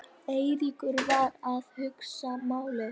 Eiríkur var að hugsa málið.